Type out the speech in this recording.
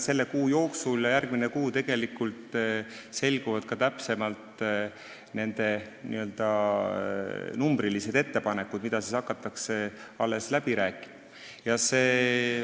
Selle ja järgmise kuu jooksul selguvad täpsemalt numbrilised ettepanekud, mida alles hakatakse läbi rääkima.